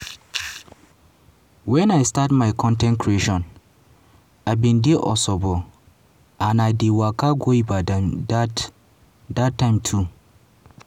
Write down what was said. "wen i bin start my con ten t creation i bin dey osogbo and dey waka go ibadan dat dat time too.